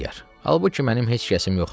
Halbuki mənim heç kəsim yoxdur.